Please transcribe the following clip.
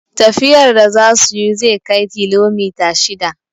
Tafiyar da za suyi zai kai kilomita shida